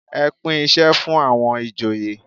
Ẹ pín isẹ fún àwọn ìjòyè.